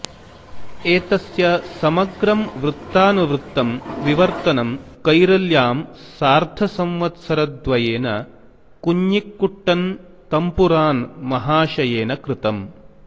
एतस्य समग्रं वृत्तानुवृत्तं विवर्तनं कैरळ्यां सार्धसंवत्सरद्वयेन कुञ्ञिक्कुट्टन् तम्पुरान् महाशयेन कृतम्